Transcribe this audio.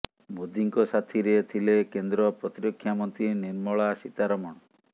ମୋଦିଙ୍କ ସାଥିରେ ଥିଲେ କେନ୍ଦ୍ର ପ୍ରତିରକ୍ଷା ମନ୍ତ୍ରୀ ନିର୍ମଳା ସୀତାରମଣ